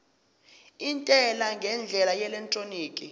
intela ngendlela yeelektroniki